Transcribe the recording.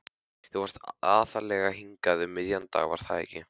Þú fórst aðallega hingað um miðjan dag, var það ekki?